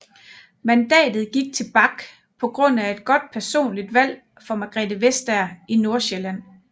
Mandatet gik til Bach på grund af et godt personligt valg for Margrethe Vestager i Nordsjælland